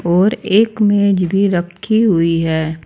और एक मेज भी रखी हुई है।